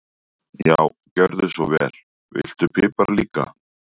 Já, gjörðu svo vel. Viltu pipar líka?